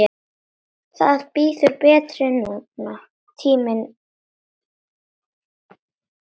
Það bíður betri tíma.